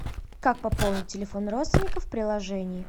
как пополнить телефон родственников в приложении